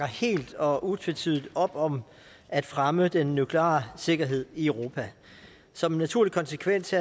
helt og utvetydigt op om at fremme den nukleare sikkerhed i europa som en naturlig konsekvens